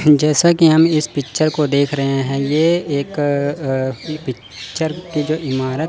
जैसा कि हम इस पिक्चर को देख रहे हैं ये एक अ अ पिक्चर की जो इमारत--